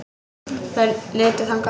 Þær litu þangað.